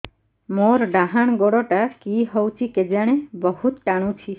ମୋର୍ ଡାହାଣ୍ ଗୋଡ଼ଟା କି ହଉଚି କେଜାଣେ ବହୁତ୍ ଟାଣୁଛି